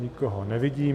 Nikoho nevidím.